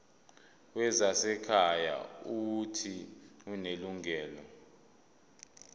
wezasekhaya uuthi unelungelo